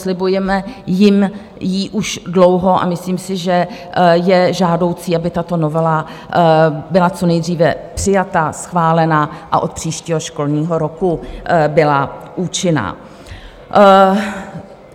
Slibujeme jim ji už dlouho a myslím si, že je žádoucí, aby tato novela byla co nejdříve přijata, schválena a od příštího školního roku byla účinná.